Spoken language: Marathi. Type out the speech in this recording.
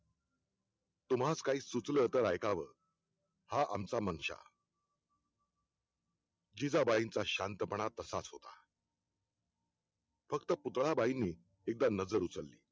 तुम्हास काही सुचलं तर ऐकावं हा आमचा मानशा जिजाबाईंचा शांतपणा तसाच होता फक्त पुतळा बाईंनी एकदा नजर उचलली